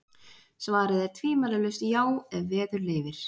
Svarið er tvímælalaust já, ef veður leyfir.